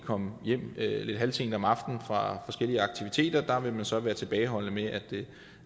kom hjem lidt halvsent om aftenen fra forskellige aktiviteter vil man så være tilbageholdende med at